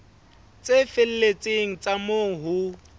tse felletseng tsa moo ho